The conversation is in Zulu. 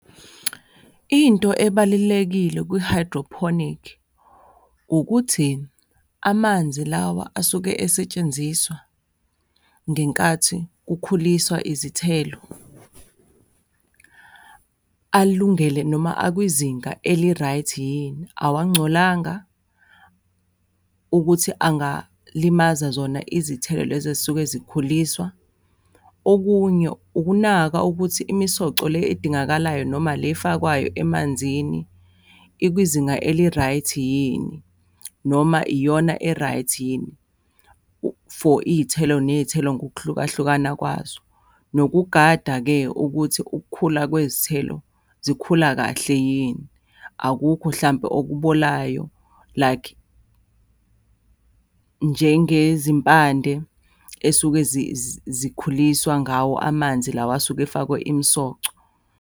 Into ebalulekile kwi-hydroponic ukuthi amanzi lawa asuke esetshenziswa ngenkathi kukhuliswa izithelo, alungele noma akwizinga eli-right yini? Awangcolanga ukuthi angalimaza zona izithelo lezi esuke zikhuliswa? Okunye ukunaka ukuthi imisoco le edingakalayo noma le efakwayo emanzini, ikwizinga eli-right yini? Noma iyona e-right yini for iy'thelo, ney'thelo ngokuhlukahlukana kwazo. Nokugada-ke ukuthi ukukhula kwezithelo zikhula kahle yini? Akukho hlampe okubolayo, like njengezimpandle esuke zikhuliswa ngawo amanzi lawa asuke efakwe imisoco.